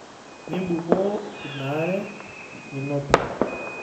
Mimbukoo ina are natito.